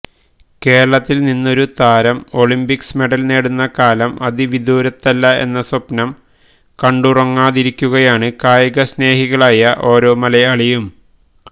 കേരളത്തില് നിന്നൊരു താരം ഒളിമ്പിക്സ് മെഡല് നേടുന്ന കാലം അതിവിദൂരത്തല്ല എന്ന് സ്വപ്നം കണ്ടുറങ്ങാതിരിക്കുകയാണ് കായിക സ്നേഹികളായ ഓരോ മലയാളിയും